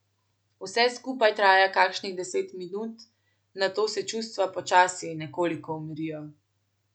Vse skupaj traja kakšnih deset minut, nato se čustva počasi nekoliko umirijo.